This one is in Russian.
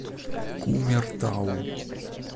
кумертау